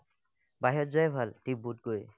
বাহিৰত যোৱাই ভাল ডিপুতকৈ